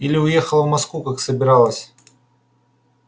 или уехала в москву как собиралась